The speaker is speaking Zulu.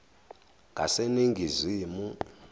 ngaseningizimu